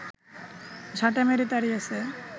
ঝাঁটা মেরে তাড়িয়েছে